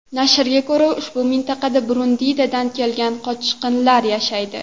Nashrga ko‘ra, ushbu mintaqada Burundidan kelgan qochqinlar yashaydi.